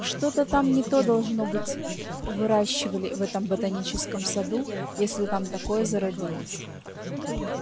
что-то там не то должно быть выращивали в этом ботаническом саду если там такое зародилось